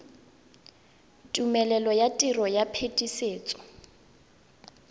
tumelelo ya tiro ya phetisetso